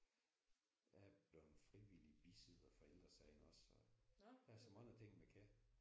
Jeg er blevet frivillig bisidder for Ældre Sagen også og der er så mange ting man kan